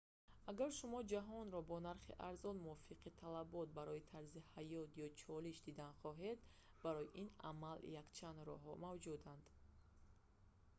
агар шумо ҷаҳонро бо нархи арзон мувофиқи талабот барои тарзи ҳаёт ё чолиш дидан хоҳед барои ин амал якчанд роҳҳо мавҷуданд